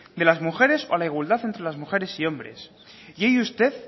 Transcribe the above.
de las mujeres o a la igualdad entre las mujeres y hombres y hoy usted